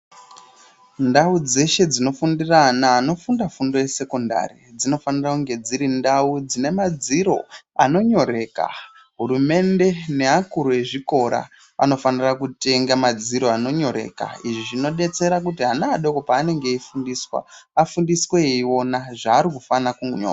Ndau dzeshe dzinofundira ana anofunda fundo yesekondari dzinofanira kunge dziri ndau dzine madziro anonyoreka hurumende neakuru ezvikora anofanira kutenge madziro anonyoreka izvi zvinodetsere kuti ana adoko paanenge eifundiswa afundiswe eiona zvaari kufana kunyora.